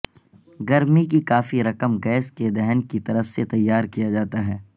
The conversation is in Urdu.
گرمی کی کافی رقم گیس کے دہن کی طرف سے تیار کیا جاتا ہے